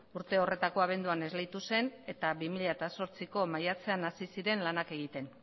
urte horretako abenduan esleitu zen eta bi mila zortziko maiatzean hasi ziren lanak egiten